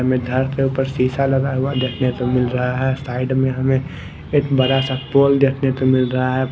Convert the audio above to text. के ऊपर शीशा लगा हुआ देखने को मिल रहा है साइड में हमें एक बड़ा सा पोल देखने को मिल रहा है।